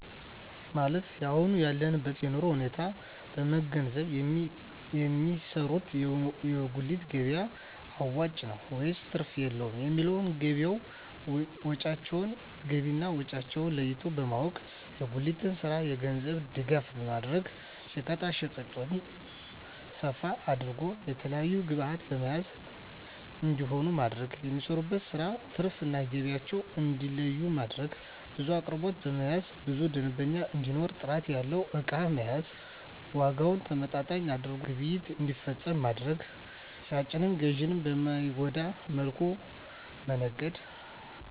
ማለት የአሁን ያለበትን የኑሮ ሁኔታ በመንገዘብ የሚሰሩት የጉሊት ገቢያ አዋጭ ነው ወይስ ትርፍ የለውም የሚለውን ገቢና ወጫቸውን ለይቶ በማወቅ። የጉሊቱን ስራ የገንዘብ ድጋፍ በማድረግ ሸቀጣሸቀጡን ሰፋ አድርገው የተለያዪ ግብዕቶችን በመያዝ ተጠቃሚ እንዲሆኑ ማድረግ። የሚሰሩበትን ስራ ትርፍ እና ገቢያቸውን እንዲለዪ ማድረግ። ብዙ አቅርቦቶችን በመያዝ ብዙ ደንበኛ እንዲኖር ጥራት ያለው እቃ መያዝ። ዋጋውን ተመጣጣኝ አድርገው ግብይት እንዲፈፅሙ ማድረግ። ሻጭንም ገዢንም በማይጎዳ መልኩ መነገድ